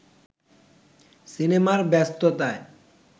সিনেমার ব্যস্ততায়